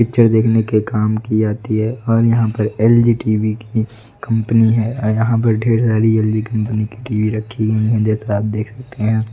Picture देखने के काम की आती है और यहां पर एल_जी टी_वी की कंपनी है यहां पर ढेर सारी एल_जी कंपनी के लिए रखी हुई है जैसा आप देख सकते हैं।